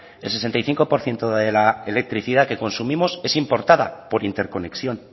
el sesenta y cinco por ciento de la electricidad que consumimos es importada por interconexión